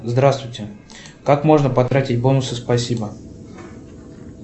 здравствуйте как можно потратить бонусы спасибо